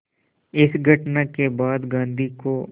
इस घटना के बाद गांधी को